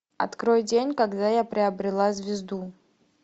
открой день когда я приобрела звезду